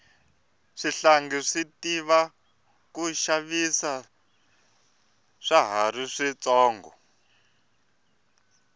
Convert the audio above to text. swihlangi swi tiva ku xavisa swa hari swi tsonga